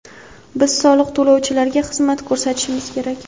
Biz soliq to‘lovchilarga xizmat ko‘rsatishimiz kerak.